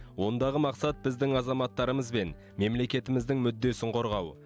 ондағы мақсат біздің азаматтарымыз бен мемлекетіміздің мүддесін қорғау